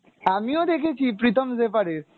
আমিও দেখেছি, প্রীতম জেফার এর,